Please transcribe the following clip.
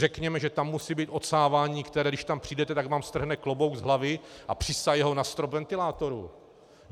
Řekněme, že tam musí být odsávání, které když tam přijdete, tak vám strhne klobouk z hlavy a přisaje ho na strop ventilátoru.